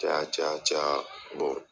Caya caya caya